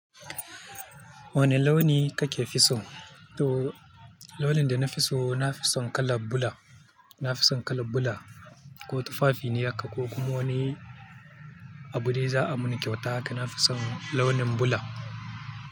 Wanne launi kake fi so? To, launin da na fi so, na fi son kalan bula. Na fi son kala bula ko tufafi ne haka ko kuma wani. Abu dai za a muni kyauta haka, na fi son launin bula.